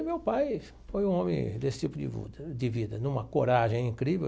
E meu pai foi um homem desse tipo de vu de vida, numa coragem incrível.